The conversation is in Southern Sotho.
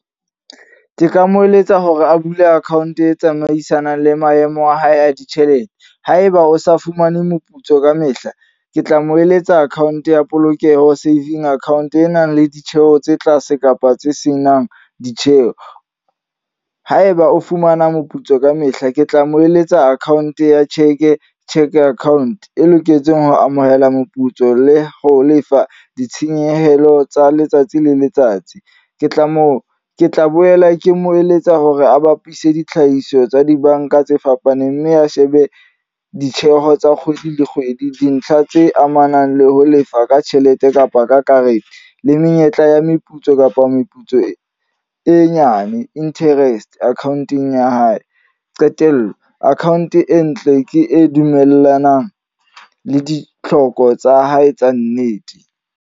Ke ka mo eletsa hore a bule account e tsamaisanang le maemo a hae a ditjhelete. Haeba o sa fumane moputso ka mehla, ke tla mo eletsa account ya polokeho saving account. E nang le ditjheho tse tlase kapa tse senang ditjheho. Haeba o fumana moputso ka mehla. Ke tla mo eletsa account ya cheque, cheque account. E loketsweng ho amohela moputso le ho lefa ditshenyehelo tsa letsatsi le letsatsi. Ke tla mo ke tla boela ke mo eletsa hore a bapise ditlhahiso tsa dibanka tse fapaneng. Mme a shebe ditjheho tsa kgwedi le kgwedi. Dintlha tse amanang le ho lefa ka tjhelete kapa ka karete. Le menyetla ya meputso kapa meputso e nyane. Interest account-ong ya hae. Qetello, account e ntle ke e dumellanang le ditlhoko tsa hae tsa nnete.